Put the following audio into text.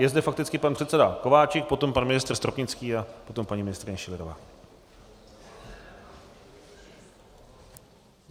Je zde fakticky pan předseda Kováčik, potom pan ministr Stropnický a potom paní ministryně Schillerová.